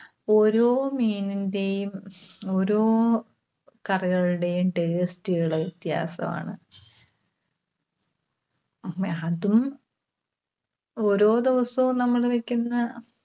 ഓരോ മീനിന്റെയും, ഓരോ കറികളുടെയും taste കള് വ്യത്യാസവാണ്. മ്ഹ അതും ഓരോ ദിവസവും നമ്മള് വെക്കുന്ന